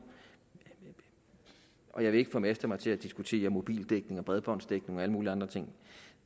og jeg vil ikke formaste mig til at diskutere mobildækning og bredbåndsdækning og alle mulige andre ting